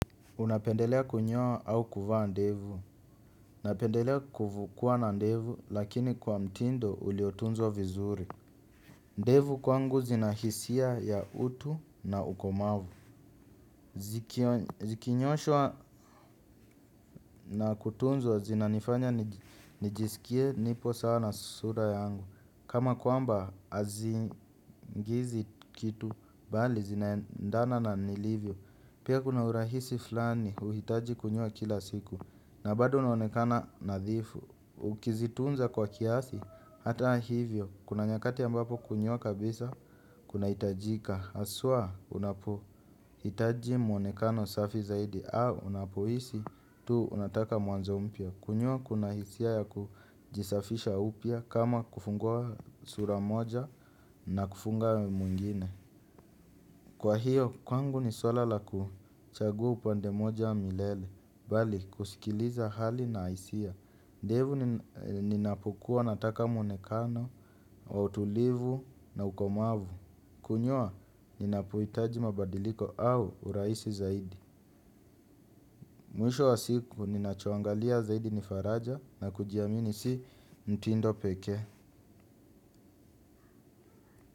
Unapendelea kunyoa au kuvaa ndevu. Napendelea kuwa na ndevu, lakini kwa mtindo uliotunzwa vizuri. Ndevu kwangu zinahisia ya utu na ukomavu. Zikinyooshwa na kutunzwa zinanifanya nijisikie nipo sawa na sura yangu. Kama kwamba hazingiizi kitu, mbali zinaendana na nilivyo. Pia kuna urahisi flani, huhitaji kunyoa kila siku. Na bado unaonekana nadhifu. Ukizitunza kwa kiasi, hata hivyo kuna nyakati ambapo kunyoa kabisa, kunahitajika haswa, unapo hitaji mwonekana usafi zaidi au unapohisi, tu unataka mwanzo mpya. Kunyoa kuna hisia ya kujisafisha upya. Kama kufungua sura moja na kufunga mwingine. Kwa hiyo, kwangu ni swala la kuchagua upande mmoja milele, mbali kusikiliza hali na hisia. Ndevu ninapokuwa nataka muonekano, wa utulivu na ukomavu. Kunyoa, ninapohitaji mabadiliko au uraisi zaidi. Mwisho wa siku, ninachoangalia zaidi ni faraja na kujiamini si mtindo pekee.